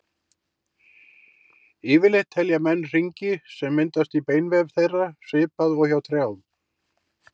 Yfirleitt telja menn hringi sem myndast í beinvef þeirra, svipað og hjá trjám.